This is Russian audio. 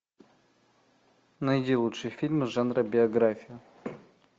найди лучшие фильмы жанра биография